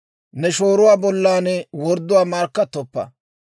«Ne shooruwaa bollan wordduwaa markkattoppa.